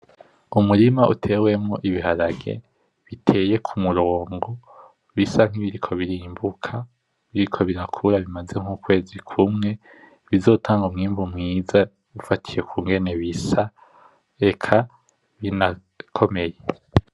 Umurima utewemwo Ibiharage biteye kumurongo bisa nkibiriko birimbuka, bisa nkibiriko birakura bimaze nk'ukwezi kumwe bizotanga umwimbu mwiza ufatiye ingene bisa eka inakomeye.